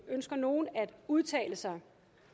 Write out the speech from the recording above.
ønsker nogen at udtale sig